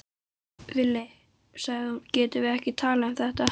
Villi, sagði hún, getum við ekki talað um þetta?